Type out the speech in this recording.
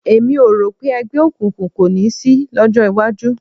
Èmi ò rò pé ẹgbẹ́ òkùnkùn kò ní sí lọ́jọ́ iwájú